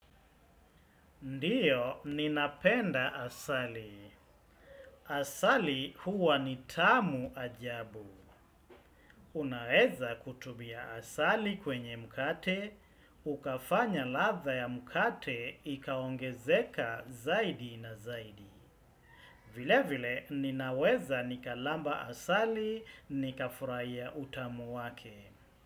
Ndio, ninapenda asali. Asali huwa ni tamu ajabu. Unaweza kutumia asali kwenye mkate ukafanya ladha ya mkate, ikaongezeka zaidi na zaidi. Vile vile, ninaweza nikalamba asali, nika furahia utamu wake.